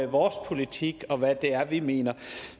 vores politik og hvad det er vi mener